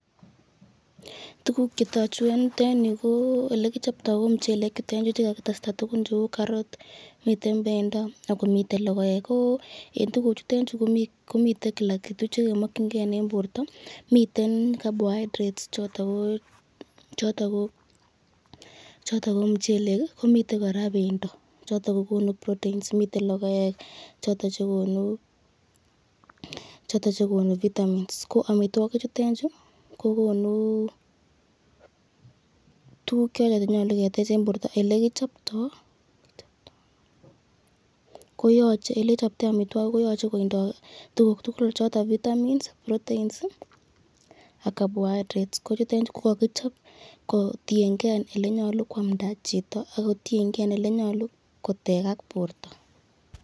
Tukuk chetoku en yuu ko elekichopto ko muchelek chuton chuu chekakitesta tukun cheuu karot, miten bendo ak komiten lokoek, ko en tukuchuton chuu komiten kila kitu chekemokyinge en borto miten carbohydrates choto ko mchelek ak komiten kora bendo choton kokonu proteins, miten lokoek choton chekonu vitamins ko amitwoki chutet chuu ko konuu tukuk choton chenyolu ketech en borto, elekichopto elekichopto amitwokichutet koyoche kotindo tukuk tukul choton vitamins, proteins ak carbohydrates kochuton ko kokichop kotieng'e elenyolu kwamnda chito ak kotieng'e elenyolu kotekak borto.